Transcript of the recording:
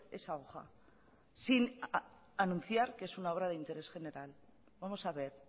esa hoja sin anunciar que es una obra de interés general vamos a ver